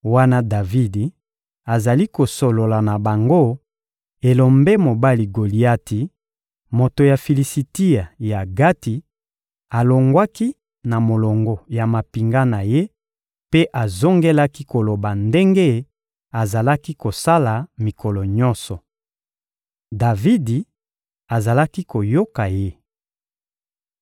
Wana Davidi azali kosolola na bango, elombe mobali Goliati, moto ya Filisitia ya Gati, alongwaki na molongo ya mampinga na ye mpe azongelaki koloba ndenge azalaki kosala mikolo nyonso. Davidi azalaki koyoka ye.